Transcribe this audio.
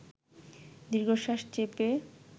দীর্ঘশ্বাস চেপে